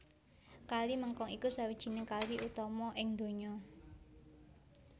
Kali Mekong iku sawijining kali utama ing donya